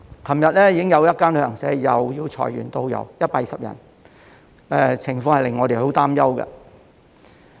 昨天已經有一間旅行社又要裁減120名導遊，令我們很擔憂。